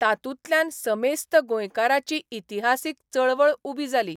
तातूंतल्यान समेस्त गोंयकारांची इतिहासीक चळवळ उबी जाली.